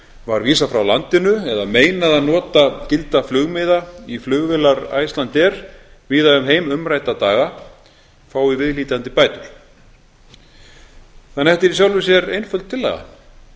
var vísað frá landinu eða meinað að nota gilda flugmiða í flugvélar icelandair víða um heim umrædda daga fái viðhlítandi bætur þetta er því í sjálfu sér einföld tillaga